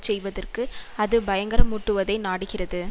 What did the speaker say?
செய்வதற்கு அது பயங்கரமூட்டுவதை நாடுகிறது